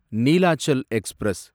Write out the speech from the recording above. Neelachal express